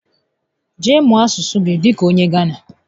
Jee mụọ asụsụ gị dịka onye Gánà